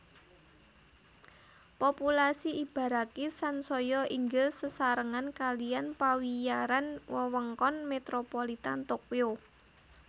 Populasi Ibaraki sansaya inggil sesarengan kalihan pawiyaran Wewengkon Metropolitan Tokyo